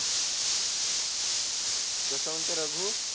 कसा मांते रघु